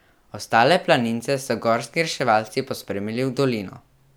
Ostale planince so gorski reševalci pospremili v dolino.